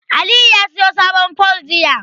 Aliyu ya siyo sabon fol jiya.